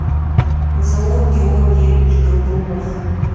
заур георгиевич горбунов